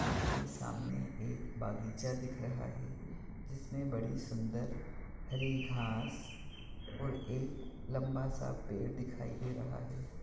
उसके सामने एक बगीचा दिख रहा हैं जिसमे बड़ी सुंदर हरी घाँस और एक लंबा स पेड़ दिखाई दे रहा हैं।